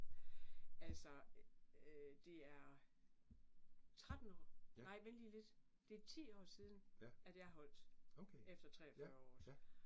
Altså øh det er 13 år nej vent lige lidt, det 10 år siden, at jeg holdt. Efter 43 år også